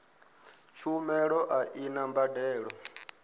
tshumelo a i na mbadelo